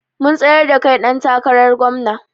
Mun tsayar da kai ɗan takarar gomna